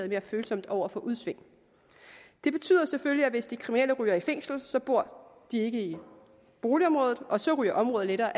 mere følsomt over for udsving det betyder selvfølgelig at hvis de kriminelle ryger i fængsel bor de ikke i boligområdet og så ryger området lettere